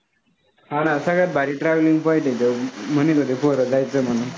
हा ना सगळ्यांत भारी traveling point आहे तिथं म्हणत होते पोरं जायचं म्हणून